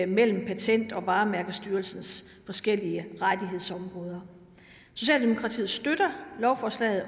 mellem patent og varemærkestyrelsens forskellige rettighedsområder socialdemokratiet støtter lovforslaget og